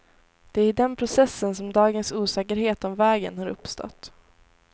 Det är i den processen som dagens osäkerhet om vägen har uppstått.